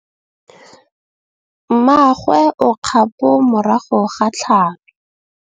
Mmagwe o kgapô morago ga tlhalô.